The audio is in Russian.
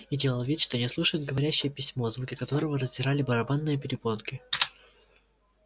и делал вид что не слушает говорящее письмо звуки которого раздирали барабанные перепонки